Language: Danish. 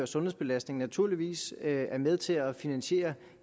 sundhedsbelastning naturligvis er med til at finansiere